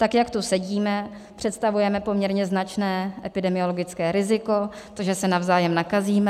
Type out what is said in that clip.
Tak jak tu sedíme, představujeme poměrně značné epidemiologické riziko, to, že se navzájem nakazíme.